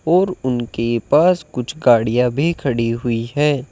और उनके पास कुछ गाड़ियां भी खड़ी हुई है।